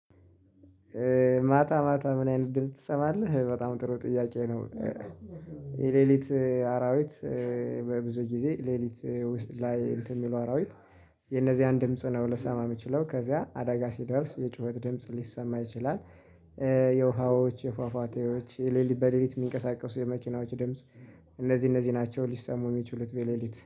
ማታ ማታ ምን አይነት ድምጽ ትሰማለህ በጣም ጥሩ ጥያቄ ነው? የሌሊት አራዊት። በብዙ ጊዜ ሌሊት ላይ እንትን የሚሉ አራዊት የነዚያን ድምጽ ነው ልሰማ የምችለው ከዚያ አደጋ ሲደርስ የጩኸት ድምጽ ሊሰማ ይችላል። የውሃዎች የፏፏቴዎች የሌሊት በሌሊት የሚንቀሳቀሱ የመኪናዎች ድምጽ። እነዚህ እነዚህ ናቸው ሊሰሙ የሚችሉት በሌሊት